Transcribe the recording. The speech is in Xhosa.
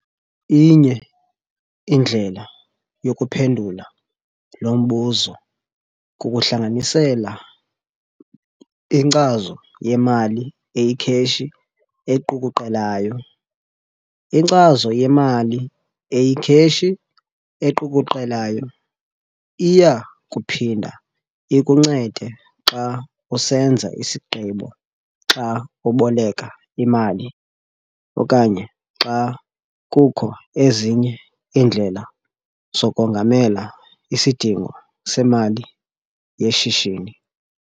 Inye indlela yokuphendula lo mbuzo kukuhlanganisela inkcazo yemali eyikheshi equkuqelayo. Inkcazo yemali eyikheshi equkuqelayo iya kuphinda ikuncede xa usenza isigqibo xa uboleka imali okanye xa kukho ezinye iindlela zokongamela isidingo semali yeshishini.